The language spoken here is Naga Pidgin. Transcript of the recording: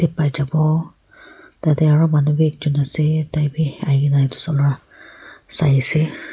tarte aru manu bhi ek jon ase tarke ahi kini sai ase.